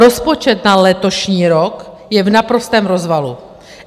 Rozpočet na letošní rok je v naprostém rozvalu.